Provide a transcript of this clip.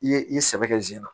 I ye i sɛbɛ kɛ zen na